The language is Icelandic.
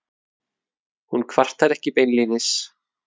Hún kvartar ekki beinlínis.